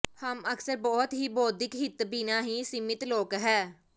ਹਮ ਅਕਸਰ ਬਹੁਤ ਹੀ ਬੌਧਿਕ ਹਿੱਤ ਬਿਨਾ ਹੀ ਸੀਮਿਤ ਲੋਕ ਹੈ